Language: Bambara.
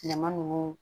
Tilema ninnu